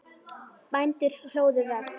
Bændur hlóðu vegg.